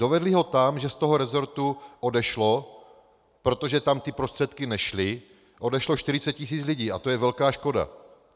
Dovedly ho tam, že z toho resortu odešlo, protože tam ty prostředky nešly, odešlo 40 tis. lidí, a to je velká škoda.